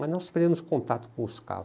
Mas nós perdemos contato com os caval.